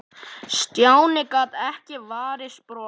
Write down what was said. Stjáni gat ekki varist brosi.